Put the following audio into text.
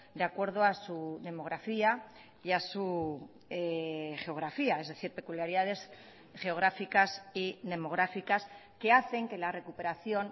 de acuerdo a su demografía y a su geografía es decir peculiaridades geográficas y demográficas que hacen que la recuperación